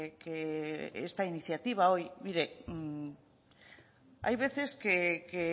que esta iniciativa hoy mire hay veces que